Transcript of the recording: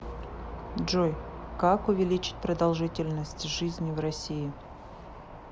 джой как увеличить продолжительность жизни в россии